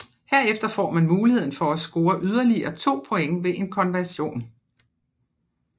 Herefter får man muligheden for at score yderligere to point ved en conversion